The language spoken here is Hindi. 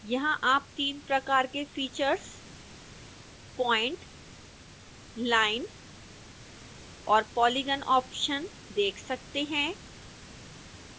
यहां आप 3 प्रकार के फीचर्स point line और polygon ऑप्शन देख सकते हैं